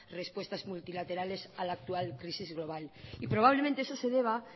respuestas multilaterales a la actual crisis global y probablemente eso se deba